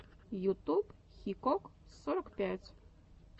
ютуб хикок сорок пять